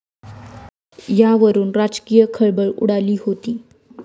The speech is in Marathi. यावरून राजकीय खळबळ उडाली होती.